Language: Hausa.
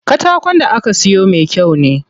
Katakon da aka siyo me kyau ne.